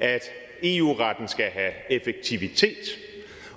at eu retten skal have effektivitet